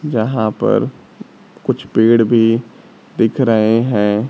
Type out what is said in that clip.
जहां पर कुछ पेड़ भी दिख रहे हैं।